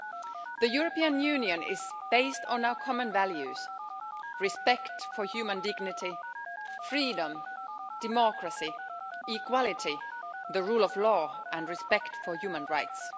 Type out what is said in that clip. The European Union is based on our common values respect for human dignity, freedom, democracy, equality, the rule of law and respect for human rights.